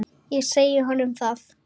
Ég sagði honum það.